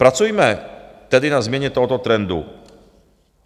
Pracujme tedy na změně tohoto trendu.